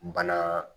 Bana